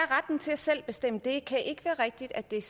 er retten til selv at bestemme det kan ikke være rigtigt at det er